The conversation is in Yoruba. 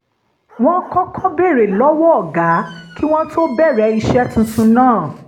wọ́n kọ́kọ́ béèrè lọ́wọ́ ọ̀gá kí wọ́n tó bẹ̀rẹ̀ iṣẹ́ tuntun náà